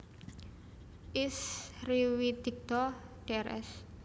Is Riwidigdo Drs